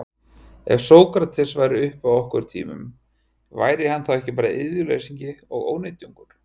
Ef Sókrates væri uppi á okkar tímum, væri hann þá ekki bara iðjuleysingi og ónytjungur?